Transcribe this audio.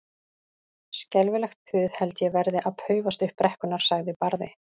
Skelfilegt puð held ég verði að paufast upp brekkurnar, sagði Barði.